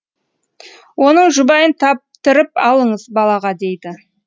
оның жұбайын таптырып алыңыз балаға дейді